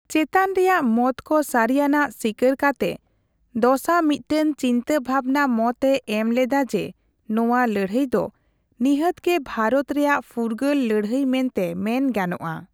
ᱪᱮᱛᱟᱱ ᱨᱮᱭᱟᱜ ᱢᱚᱛᱠᱚ ᱥᱟᱹᱨᱤᱭᱟᱱᱟᱜ ᱥᱤᱠᱟᱹᱨ ᱠᱟᱛᱮ ᱫᱚᱥᱟ ᱢᱤᱫᱴᱟᱝ ᱪᱤᱱᱛᱟᱹ ᱵᱷᱟᱵᱱᱟ ᱢᱚᱛ ᱮ ᱮᱢ ᱞᱮᱫᱟ ᱡᱮ ᱱᱚᱣᱟ ᱞᱟᱹᱲᱦᱟᱹᱭ ᱫᱚ ᱱᱤᱦᱟᱹᱛᱜᱮ ᱵᱷᱟᱨᱚᱛ ᱨᱮᱭᱟᱜ ᱯᱷᱩᱨᱜᱟᱹᱞ ᱞᱟᱹᱲᱦᱟᱹᱭ ᱢᱮᱱᱛᱮ ᱢᱮᱱ ᱜᱟᱱᱚᱜᱼᱟ ᱾